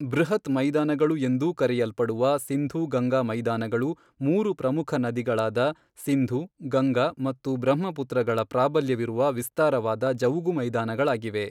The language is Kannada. ಬೃಹತ್ ಮೈದಾನಗಳು ಎಂದೂ ಕರೆಯಲ್ಪಡುವ ಸಿಂಧೂ ಗಂಗಾ ಮೈದಾನಗಳು ಮೂರು ಪ್ರಮುಖ ನದಿಗಳಾದ ಸಿಂಧು, ಗಂಗಾ ಮತ್ತು ಬ್ರಹ್ಮಪುತ್ರಗಳ ಪ್ರಾಬಲ್ಯವಿರುವ ವಿಸ್ತಾರವಾದ ಜವುಗು ಮೈದಾನಗಳಾಗಿವೆ.